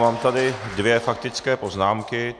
Mám tady dvě faktické poznámky.